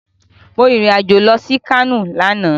Mo rìn irìn-àjò lọ sí Kano lánàá